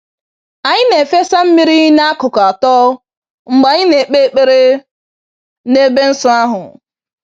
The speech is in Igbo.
Anyị na-efesa mmiri n'akụkụ atọ mgbe anyị na-ekpe ekpere n'ebe nsọ ahụ.